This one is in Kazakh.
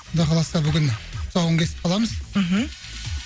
құдай қаласа бүгін тұсауын кесіп қаламыз мхм